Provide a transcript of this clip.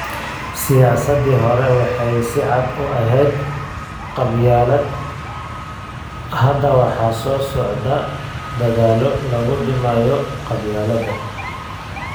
Siyaasaddii hore waxay si cad u ahayd qabyaalad. Hadda waxaa socda dadaallo lagu dhimayo qabyaaladda.